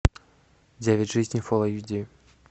девять жизней фул эйч ди